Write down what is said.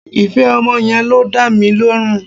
Ìfẹ́ ọmọ yẹn ló ń dá mi lọ́rùn